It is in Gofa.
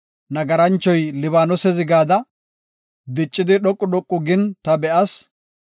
Nagaranchoy Libaanose zigada, diccidi dhoqu dhoqu gin ta be7as.